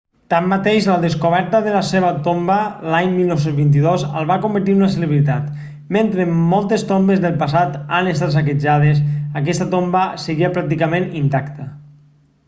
tanmateix la descoberta de la seva tomba l'any 1922 el va convertir en una celebritat mentre moltes tombes del passat han estat saquejades aquesta tomba seguia pràcticament intacta